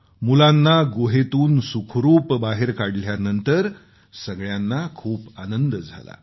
मुलांना गुहेतून सुखरूप बाहेर काढल्यानंतर सगळ्यांना खूप आनंद झाला